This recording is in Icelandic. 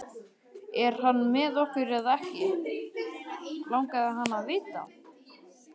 Er hann með okkur eða ekki? langaði hann að vita.